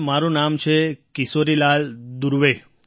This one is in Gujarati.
સર મારું નામ છે કિશોરીલાલ દુર્વે